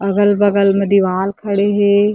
अगल-बगल में दिवाल खड़े हे।